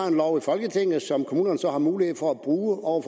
en lov i folketinget som kommunerne har mulighed for at brug over